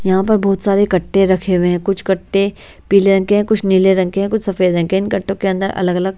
यहाँ पर बहुत सारे कट्टे रखे हुए हैं कुछ कट्टे पीले रंग के हैं कुछ नीले रंग के हैं कुछ सफेद रंग के हैं इन कट्टों के अंदर अलग-अलग--